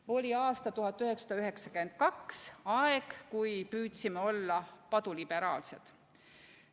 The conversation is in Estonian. Oli aasta 1992, aeg, kui püüdsime olla paduliberaalsed.